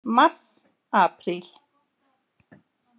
Mars Apríl